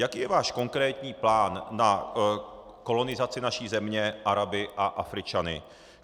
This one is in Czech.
Jaký je váš konkrétní plán na kolonizaci naší země Araby a Afričany?